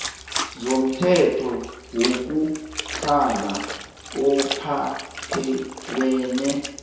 zomthetho wokutlhala ophathelene